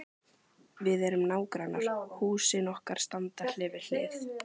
Við erum nágrannar, húsin okkar standa hlið við hlið.